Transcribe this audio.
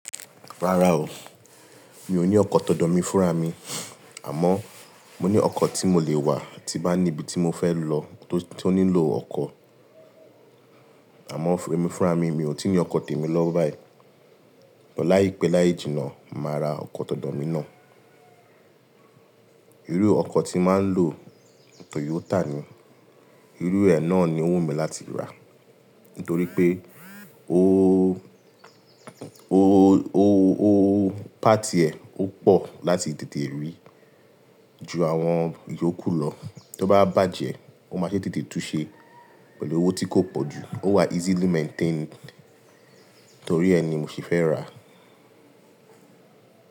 Rárá o, mi ò ní ọkọ̀ tọ̀dọ̀ mi fúnra mi. Àmọ́ mo ní ọkọ̀ tí mo lè wà tí bá ní ibi tí mo fẹ́ lọ tó, tó nílò ọkọ̀. Àmọ́ fún emi fúnra mi, mi ò tíì ní ọkọ̀ tèmi lọ́wọ́ báyìí. Lọ láìpẹ́ láì jìnnà, màá ra ọkọ̀ tọ̀dọ̀ mi náà. Irú ọkọ̀ tí màá ń lò Toyota ni. Irú ẹ náà ni wù mí láti rà. Nítorí pé ó, ó, ó, ó, páàtì ẹ̀ ó pọ̀ láti tètè rí ju àwọn ìyóku ó lọ. Tó bá bàjẹ́, ó máa ṣe tètè túnsẹ pẹ̀lú owó tí kò pọ̀ jù. Ó wà easily maintained. Nítorí ẹ ni mo sì fẹ́ rà.